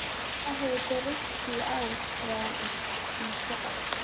Hvað hefur breyst í ár frá í fyrra?